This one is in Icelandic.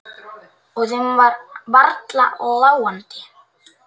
Og þeim var varla láandi.